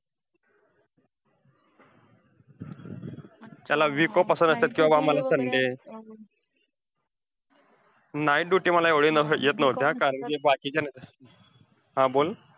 त्याला week off असतात किंवा आम्हांला sunday. night duty मला एवढे नस~ येत नव्हत्या, कारण कि बाकीच्या हा बोल.